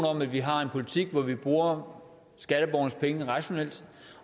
om at vi har en politik hvor vi bruger skatteborgernes penge rationelt